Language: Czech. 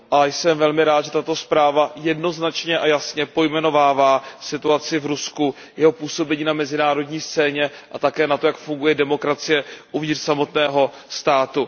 Jsem velmi rád, že tato zpráva jednoznačně a jasně pojmenovává situaci v Rusku, jeho působení na mezinárodní scéně a také to, jak funguje demokracie uvnitř samotného státu.